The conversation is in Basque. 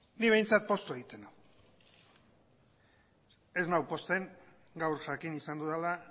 ni behintzat poztu egiten nau ez nau pozten gaur jakin izan dudala